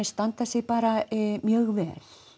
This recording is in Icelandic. standa sig bara mjög vel